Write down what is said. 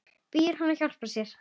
Biður hann að hjálpa sér.